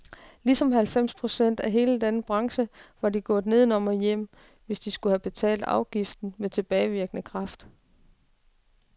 Ligesom halvfems procent af hele denne branche var de gået nedenom og hjem, hvis de skulle have betalt afgiften med tilbagevirkende kraft.